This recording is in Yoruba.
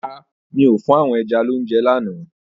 Rárá, mi ò fún àwọn ẹja lounje lálẹ́ àná.